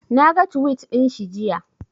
Naga tuwit ɗinshi jiya